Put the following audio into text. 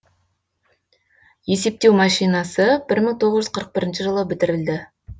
есептеу машинасы бір мың тоғыз жүз қырық бірінші жылы бітірілді